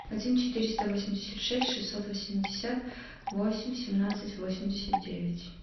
один четыреста восемьдесят шесть шестьсот восемьдесят восемь семнадцать восемьдесят девять